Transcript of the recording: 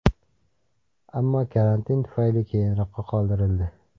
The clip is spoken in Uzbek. Ammo karantin tufayli keyinroqqa qoldirildi.